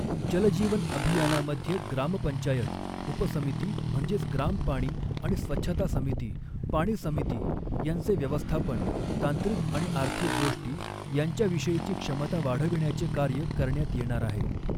जल जीवन अभियानामध्ये ग्रामपंचायत, उपसमिती म्हणजेच ग्राम पाणी आणि स्वच्छता समिती, पाणी समिती यांचे व्यवस्थापन, तांत्रिक आणि आर्थिक गोष्टी यांच्याविषयीची क्षमता वाढविण्याचे कार्य करण्यात येणार आहे.